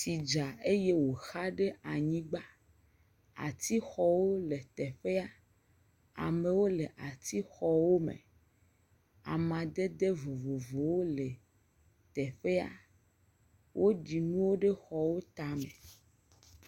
Tsi dza eye woxa ɖe anyigba. Atixɔwo le teƒea. Amewo le atixɔwo me. Amadede vovovowo le teƒea. Woɖi nuwo ɖe xɔ tame